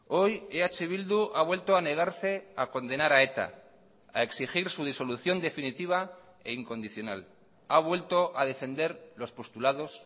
hoy eh bildu ha vuelto a negarse a condenar a eta a exigir su disolución definitiva e incondicional ha vuelto a defender los postulados